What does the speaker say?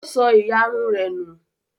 Ó sọ ìyarun rẹ nù?